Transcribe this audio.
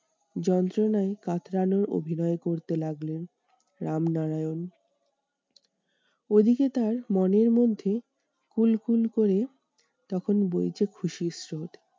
যন্ত্রনায় কাতরানোর অভিনয় করতে লাগলেন রামনারায়ণ। ওদিকে তার মনের মধ্যে ফুল ফুল করে তখন বইছে খুশির স্রোত।